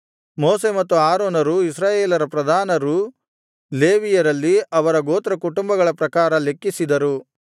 ಮೋಶೆ ಮತ್ತು ಆರೋನರೂ ಇಸ್ರಾಯೇಲರ ಪ್ರಧಾನರೂ ಲೇವಿಯರಲ್ಲಿ ಅವರ ಗೋತ್ರಕುಟುಂಬಗಳ ಪ್ರಕಾರ ಲೆಕ್ಕಿಸಿದರು